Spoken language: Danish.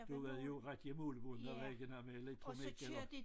Du havde jo ret i at målebåndet og der var ikke noget med elektronik eller